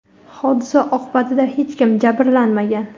hodisa oqibatida hech kim jabrlanmagan.